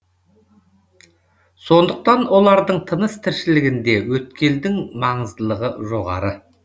сондықтан олардың тыныс тіршілігінде өткелдің маңыздылығы жоғары